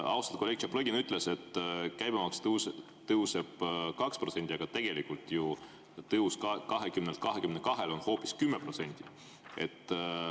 Austatud kolleeg Tšaplõgin ütles, et käibemaks tõuseb 2%, aga tegelikult on tõus 20-lt 22-le hoopis 10%.